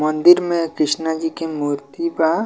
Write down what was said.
मंदिर में कृष्णा जी के मूर्ति बा।